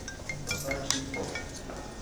поставь дипло